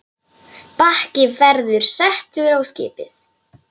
Bakki verður settur á skipið.